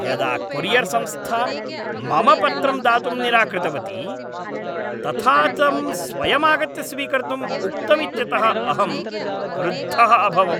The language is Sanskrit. यदा कोरियर् संस्था मम पत्रं दातुं निराकृतवती तथा तं स्वयमागत्य स्वीकर्तुं उक्तमित्यतः अहं क्रुद्धः अभवम्।